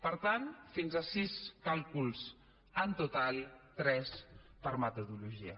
per tant fins a sis càlculs en total tres per metodologia